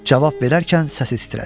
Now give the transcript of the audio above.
Cavab verərkən səsi titrədi.